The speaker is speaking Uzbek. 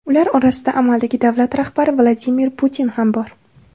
Ular orasida amaldagi davlat rahbari Vladimir Putin ham bor.